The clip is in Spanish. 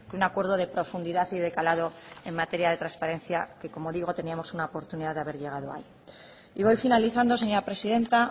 un acuerdo de profundidad y de calado en materia de transparencia que como digo teníamos una oportunidad de haber llegado ahí y voy finalizando señora presidenta